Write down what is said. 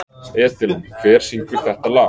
Edilon, hver syngur þetta lag?